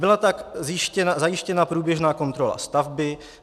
Byla tak zajištěna průběžná kontrola stavby.